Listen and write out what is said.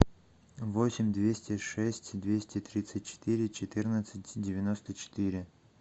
восемь двести шесть двести тридцать четыре четырнадцать девяносто четыре